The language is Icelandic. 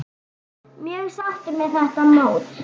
Mjög sáttur með þetta mót.